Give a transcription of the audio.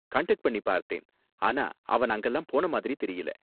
Contact பண்ணி பார்த்தேன், ஆனா அவன் அங்கலாம் போன மாதிரி தெரியல.